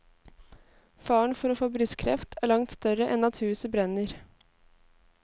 Faren for å få brystkreft er langt større enn at huset brenner.